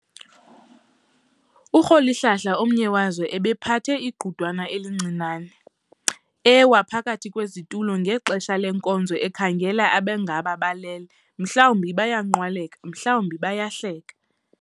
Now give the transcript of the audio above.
URholihlala, omnye wazo, ubephatha igqudwana elincinane, ewaka phakathi kwezitulo ngexesha lenkonzo ekhangela abangaba balele, mhlawumbi bayanqwaleka, mhlawumbi bayahleka.